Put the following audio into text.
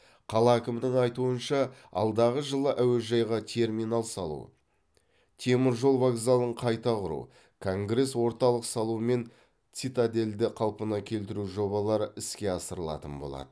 қала әкімінің айтуынша алдағы жылы әуежайға терминал салу темір жол вокзалын қайта құру конгресс орталық салу мен цитадельді қалпына келтіру жобалары іске асырылатын болады